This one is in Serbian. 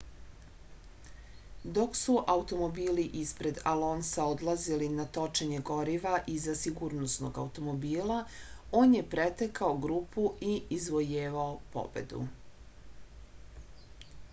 dok su automobili ispred alonsa odlazili na točenje goriva iza sigurnosnog automobila on je pretekao grupu i izvojevao pobedu